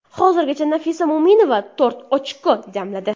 Hozirgacha Nafisa Mo‘minova to‘rt ochko jamladi.